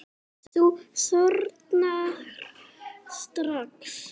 Þú þornar strax.